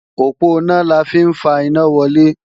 Òponá la fi ń fa iná wọlé